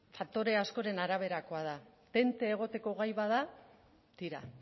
faktore askoren araberakoa da tente egoteko gai bada tira